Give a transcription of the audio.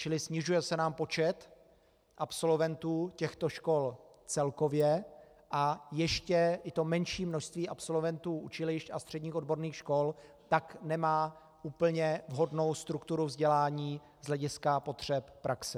Čili snižuje se nám počet absolventů těchto škol celkově a ještě i to menší množství absolventů učilišť a středních odborných škol tak nemá úplně vhodnou strukturu vzdělání z hlediska potřeb praxe.